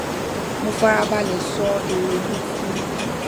mo fara balè sọ èrò mi fún un